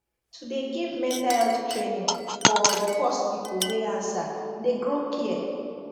to de give mental health training foor de first people wey answer de grow care